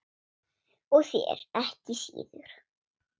Og þér ekki síður